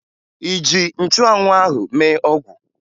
Ị ji nchụanwụ ahụ mee ọgwụ?